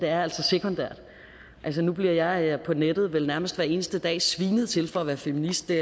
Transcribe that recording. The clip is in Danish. er sekundært nu bliver jeg på nettet vel nærmest hver eneste dag svinet til for at være feminist det